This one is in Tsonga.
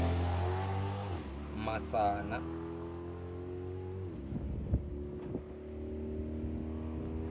masana